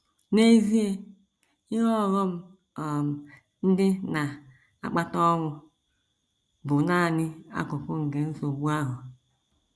N’EZIE, ihe ọghọm um ndị na - akpata ọnwụ bụ nanị akụkụ nke nsogbu ahụ.